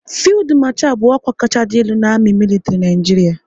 Fildu Marchal bụ ọkwa kacha dị elu n' amị militri Naijiria